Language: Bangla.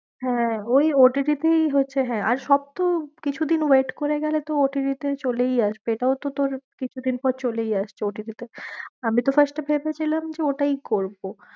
হ্যাঁ, ওই OTT তেই হচ্ছে হ্যাঁ, আর তো কিছুদিন wait করে গেলে তো OTT তে চলেই আসবে, এটাও তো তোর কিছুদিন পর চলে আসতো OTT তে আমি তো first এ ভেবেছিলাম যে ওটাই করবো।